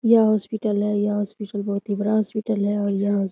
यह हॉस्पिटल है और यह हॉस्पिटल बहुत ही बड़ा हॉस्पिटल है और यह --